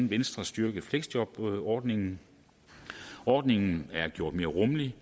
venstre styrket fleksjobordningen ordningen er gjort mere rummelig